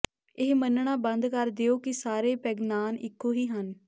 ਇਹ ਮੰਨਣਾ ਬੰਦ ਕਰ ਦਿਓ ਕਿ ਸਾਰੇ ਪੈਗਨਾਨ ਇੱਕੋ ਹੀ ਹਨ